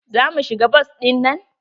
Za mu shiga bas ɗinnan?